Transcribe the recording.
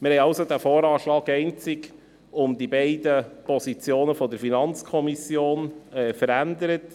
Wir haben diesen VA also einzig um die beiden Positionen der FiKo verändert.